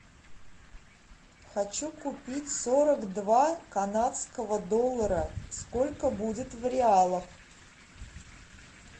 хочу купить сорок два канадского доллара сколько будет в реалах